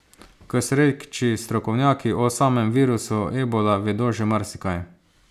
K sreči strokovnjaki o samem virusu ebola vedo že marsikaj.